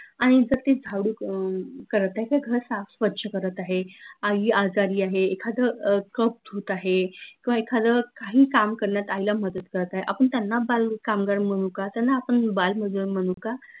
आनि जर, ती झाडू अं करत आहे त घर साफ स्वच्छ करत आहे आई आजारी आहे एखाद अह cup धूत आहे किंव्हा एखाद काही काम करन्यात आईला मदत करत आहे आपन त्यांना बाल कामगार म्हनू का? त्यांना आपन बाल मजूर म्हनू का?